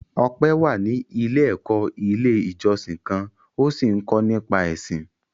Ọpẹ́ wà ní ilé-ẹ̀kọ́ Ilé-ìjọsìn kan ó sì ń kọ́ nípa Ẹ̀sìn.